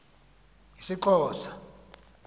isxhosa